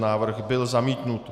Návrh byl zamítnut.